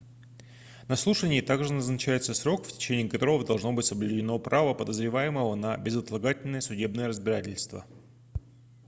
на слушании также назначается срок в течение которого должно быть соблюдено право подозреваемого на безотлагательное судебное разбирательство